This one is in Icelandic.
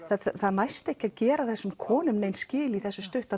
það næst ekki að gera þessum konum nein skil í þessum stutta